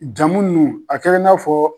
Jamu nunnu a kɛra i n'a fɔ.